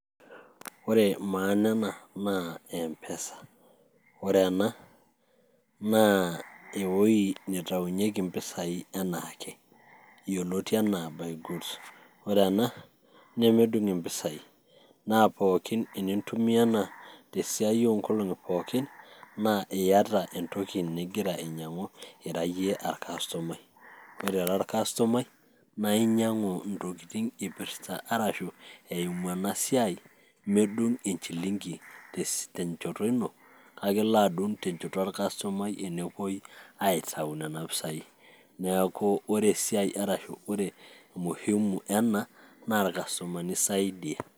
ore maana ena naa mpesa ore ena naa ewoi nitaunyieki impisai enaake yioloti enaa buy goods ore ena nemedung impisai naa pookin enintumia ena tesiai onkolong'i pookin naa iyata entoki nigira ainyiang'u ira iyie arkastomai ore era arkastomai naa inyiang'u intokitin ipirrta arashu eimu ena siai medung enchilingi tenchoto ino kake elo adung tenchoto orkastomai tenepuoi aitau nena pisai neeku ore esiai arashu ore umuhimu ena naa irkastomani isaidia.